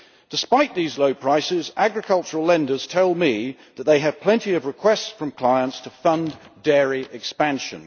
Despite these low prices, agricultural lenders tell me that they have plenty of requests from clients to fund dairy expansion.